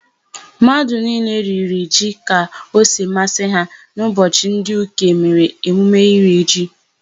Mmadụ niile riri ji ka o si masị ha n'ụbọchị ndị Uke mere emume iri ji.